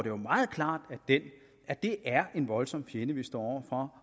jo meget klart at det er en voldsom fjende vi står over